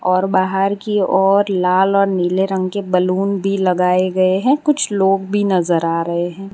और बाहर की ओर लाल और नीले रंग के बलून भी लगाए गएं हैं कुछ लोग भी नजर आ रहे हैं।